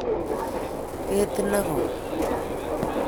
Ketit negoi.